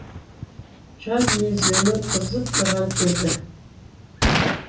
жаз мезгілінің қызып тұрған кезі